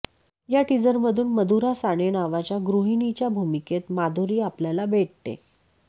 या टीझरमधून मधुरा साने नावाच्या गृहिणीच्या भूमिकेत माधुरी आपल्याला भेटते